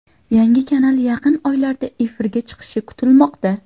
Yangi kanal yaqin oylarda efirga chiqishi kutilmoqda.